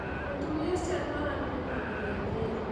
Mũtumia ũcio atwaranire na andũ ethĩ.